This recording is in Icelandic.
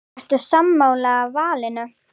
Ertu sammála valinu?